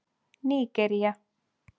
Nígería